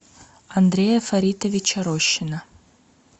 андрея фаритовича рощина